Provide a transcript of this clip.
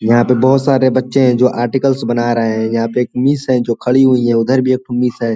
यहाँ पे बहुत सारे बच्चे जो आर्टिकल्स बना रहे हैं यहां पे एक मिस है जो खड़ी हुई है उधर भी एक मिस हैं।